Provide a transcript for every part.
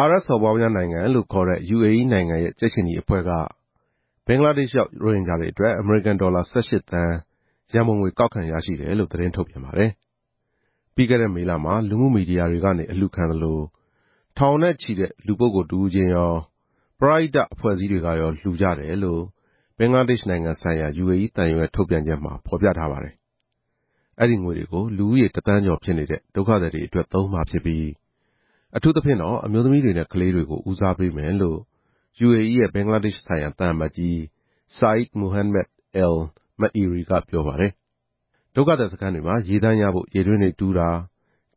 အာရပ်စော်ဘွားများနိုင်ငံလို့ခေါ်တဲ့ UAE နိုင်ငံရဲ့ ကြက်ခြေနီအဖွဲ့က ဘင်္ဂလားဒေ့ရှ်ရောက် ရိုဟင်ဂျာတွေအတွက် အမေရိကန်ဒေါ်လာ ၁၈ သန်း ရန်ပုံငွေ ကောက်ခံရရှိတယ်လို့ သတင်းထုတ်ပြန်ပါတယ်။ ပြီးခဲ့တဲ့မေလမှာ လူမှုမီဒီယာတွေကနေ အလှူခံသလို ထောင်နဲ့ချီနဲ့လူပုဂ္ဂိုလ်တဦးချင်းရော၊ ပရဟိတ အဖွဲ့အစည်းတွေကရော လှူကြတယ်လို့ ဘင်္ဂလားဒေ့ရှ်နိုင်ငံဆိုင်ရာ UAE သံရုံးရဲ့ထုတ်ပြန်ချက်မှာ ဖော်ပြထားပါတယ်။ ဒီငွေတွေကို လူဦးရေတသန်းကျော်ဖြစ်နေတဲ့ ဒုက္ခသည်တွေအတွက် သုံးမှာ ဖြစ်ပြီး အထူးသဖြင့် အမျိုးသမီးနဲ့ကလေးတွေကို ဦးစားပေးမယ်လို့ UAE ရဲ့ဘင်္ဂလားဒေ့ရှ်ဆိုင်ရာ သံအမတ်ကြီး ဆာအိဒ် မိုဟန်းမက် အယ်လ် မအီရီကပြောပါတယ်။ ဒုက္ခသည်စခန်းတွေမှာ ရေသန့်ရဖို့ ရေတွင်းတွေတူးတာ၊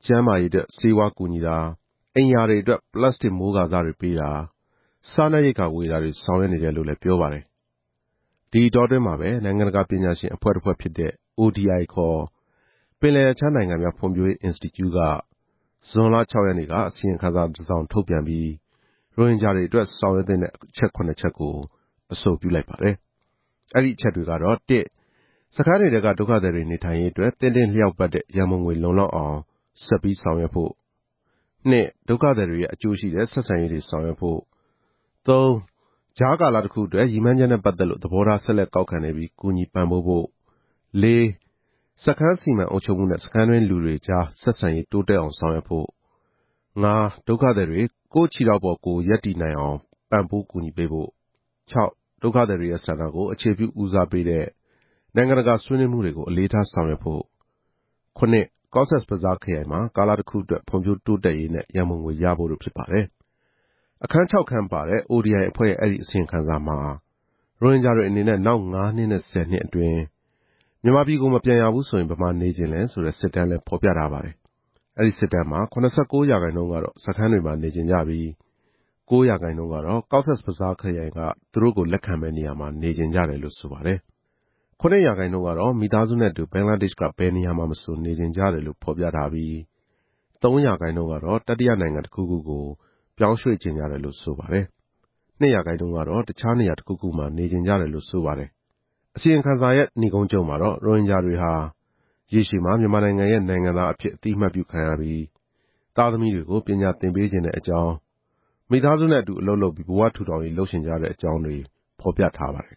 ကျန်းမာရေးအတွက် ဆေးဝါးကူညီတာ၊ အိမ်ရာအတွက် ပလတ်စတစ်မိုးကာစတွေ ပေးတာ၊ စားနပ်ရိက္ခာဝေတာတွေ ဆောင်ရွက်နေတယ်လို့လည်း ပြောပါတယ်။ ဒီအတောအတွင်းမှာပဲ နိုင်ငံတကာပညာရှင်အဖွဲ့တဖွဲ့ဖြစ်တဲ့ ODI ခေါ် ပင်လယ်ရပ်ခြားနိုင်ငံများဖွံ့ဖြိုး ရေးအင်စတီကျုက ဇွန်လ ၆ ရက်နေ့က အစီရင်ခံစာတစောင်ထုတ်ပြန်ပြီး၊ ရိုဟင်ဂျာတွေအတွက် ဆောင်ရွက်သင့်တဲ့ အချက် ၇ ချက်ကို အဆိုပြုလိုက်ပါတယ်။ အဲဒီအချက်တွေကတော့ စခန်းတွေထဲကဒုက္ခသည်တွေနေထိုင်ရေးအတွက် သင့်တင့်လျောက်ပတ်တဲ့ ရန်ပုံငွေလုံလောက်အောင် ဆက်ပြီးဆောင်ရွက်ဖို့၊ ဒုက္ခသည်တွေနဲ့ အကျိုးရှိတဲ့ ဆက်ဆံရေးတွေ ဆောင်ရွက်ဖို့၊ ကြားကာလတခုအတွက် ရည်မှန်းချက်နဲ့ ပတ်သက်လို့ သဘောထား ဆက်လက်ကောက်ခံနေပြီး ကူညီပံ့ပိုးဖို့၊ စခန်းစီမံအုပ်ချုပ်မှုနဲ့ စခန်းတွင်းလူတွေကြား ဆက်ဆံရေးတိုးတက်အောင် ဆောင်ရွက်ဖို့၊ ဒုက္ခသည်တွေ ကိုယ့်ခြေထောက်ပေါ်ကိုယ် ရပ်တည်နိုင်အောင် ပံ့ပိုးကူညီပေးဖို့၊ ဒုက္ခသည်တွေရဲ့ဆန္ဒကို အခြေပြုဦးစားပေးတဲ့ နိုင်ငံတကာဆွေးနွေးမှုတွေကို အလေးထားဆောင်ရွက်ဖို့၊ ကော့ဆက်ဘဇားခရိုင်မှာ ကာလတခုအတွက် ဖွံ့ဖြိုးတိုးတက်ရေးနဲ့ ရန်ပုံငွေရဖို့ တို့ဖြစ်ပါတယ်။ အခန်း ၆ ခန်းပါတဲ့ ODI အဖွဲ့ရဲ့အဲဒီအစီရင်ခံစာမှာ - ရိုဟင်ဂျာတွေအနေနဲ့ နောက် ငါးနှစ်နဲ့ ဆယ်နှစ် အတွင်း မြန်မာပြည်ကို မပြန်ရဘူးဆိုရင် ဘယ်မှာနေချင်လဲဆိုတဲ့ စစ်တမ်းလည်း ဖော်ပြထားပါတယ်။ အဲဒီစစ်တမ်းမှာ ၇၉ ရာခိုင်နှုန်းကတော့ စခန်းတွေမှာ နေချင်ကြပြီး၊ ကိုးရာခိုင်နှုန်းကတော့ ကော့ဆက်ဘဇားခရိုင်က သူတို့ကို လက်ခံမယ့်နေရာမှာ နေချင်ကြတယ်လို့ဆိုပါတယ်။ ခုနှစ်ရာခိုင်နှုန်းကတော့ မိသားစုနဲ့အတူ ဘင်္ဂလားဒေ့ရှ်က ဘယ်နေရာမှာမဆို နေချင်ကြတယ်လို့ ဖော်ပြထားပြီး၊ သုံးရာခိုင်နှုန်းကတော့ တတိယနိုင်ငံတခုကို ပြောင်းရွှေ့ချင်ကြတယ်လို့ ဆိုပါတယ်။ နှစ်ရာခိုင်နှုန်းက တခြားနေရာ တခုခုမှာ နေချင်ကြတယ်လို့ ဆိုပါတယ်။ အစီရင်ခံစာရဲ့နိဂုံးချုပ်မှာတော့ - ရိုဟင်ဂျာတွေဟာ ရေရှည်မှာ မြန်မာနိုင်ငံရဲ့ နိုင်ငံသားအဖြစ် အသိအမှတ်ပြုခံရပြီး၊ သားသမီးတွေကို ပညာသင်ပေးချင်တဲ့အကြောင်း၊ မိသားစုနဲ့အတူ အလုပ်လုပ်ပြီး ဘဝထူထောင်ရေးလုပ်ချင်ကြတဲ့အကြောင်းတွေ ဖော်ပြထားပါတယ်